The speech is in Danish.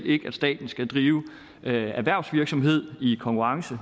ikke at staten skal drive erhvervsvirksomhed i konkurrence